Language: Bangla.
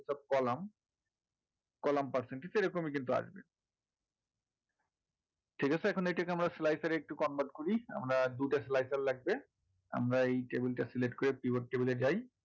column column percentage কিন্তু এরকমই আসবে ঠিক আছে এখন এটাকে আমরা slicer এ একটু convert করি আমার আর দুইটা slicer লাগবে আমরা এই table টা select করে pivot table এ যাই